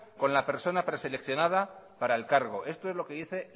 con la persona preseleccionada para el cargo esto es lo que dice